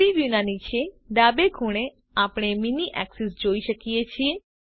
3ડી વ્યુના નીચે ડાબે ખૂણે આપણે મીની એક્સિસ જોઈ શકીએ છે